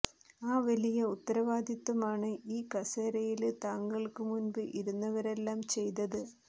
ആ വലിയ ഉത്തരവാദിത്വമാണ് ഈ കസേരയില് താങ്കള്ക്കു മുമ്പ് ഇരുന്നവരെല്ലാം ചെയ്തത്